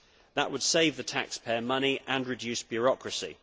That would save the taxpayer money and reduce bureaucracy.